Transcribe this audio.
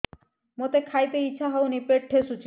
ମୋତେ ଖାଇତେ ଇଚ୍ଛା ହଉନି ପେଟ ଠେସୁଛି